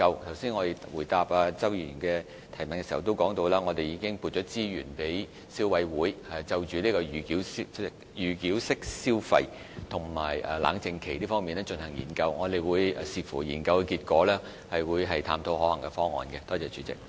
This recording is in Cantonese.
我剛才回答周議員的補充質詢時，也提到已經撥出資源，讓消委會就預繳式消費和冷靜期進行研究，並會視乎研究結果探討可行方案。